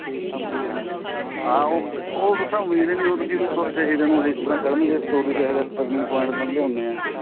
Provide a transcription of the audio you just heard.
ਹਾਂ ਉਹ ਉਹ ਦੱਸਾਂ ਉਮੀਦ ਹੀ ਨੀ ਸੀ ਕਿਸੇ ਚੀਜ਼ ਨੂੰ ਇਹ ਇਸ ਤਰ੍ਹਾਂ ਕਰਨਗੇ story ਚ ਏਹੋਜਿਹਾ turning point ਲੈਂਦੇ ਹੁੰਦੇ ਨੇ